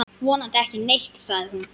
Vonandi ekki neitt, sagði hún.